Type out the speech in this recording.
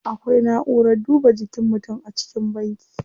Akwai na'urar duba jikin mutum a cikin banki.